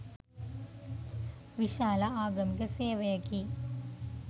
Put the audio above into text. විශාල ආගමික සේවයකි.